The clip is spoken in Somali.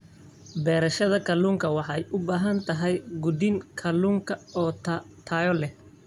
Beerashada kalluunka waxay u baahan tahay quudin kalluunka oo tayo leh.